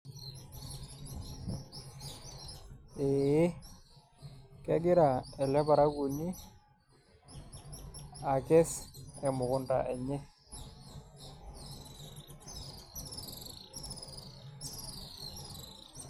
Ee kegira ele parakuoni akess emukunda enye.